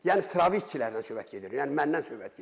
Yəni sıravi işçilərdən söhbət gedir, yəni məndən söhbət gedir.